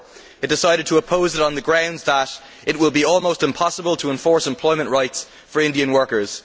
4. It decided to oppose it on the grounds that it will be almost impossible to enforce employment rights for Indian workers.